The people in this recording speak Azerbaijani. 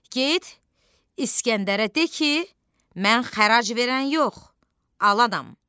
Get İskəndərə de ki, mən xərac verən yox, alanam.